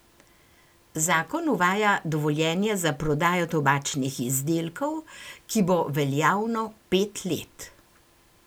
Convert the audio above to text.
Zakon uvaja dovoljenja za prodajo tobačnih izdelkov, ki bo veljavno pet let.